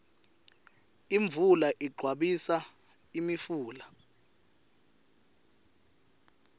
imvula igcwabisa imifula